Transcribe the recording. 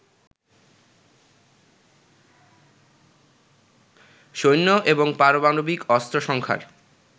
সৈন্য এবং পারমাণবিক অস্ত্র সংখ্যার